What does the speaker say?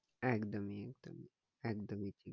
একদমই একদমই